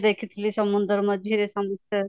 ଦେଖିଥିଲି ସମୁଦ୍ର ମଝିରେ ସମୁଦ୍ର